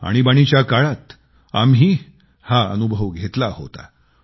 आणीबाणीच्या काळात आम्ही हा अनुभव घेतला होता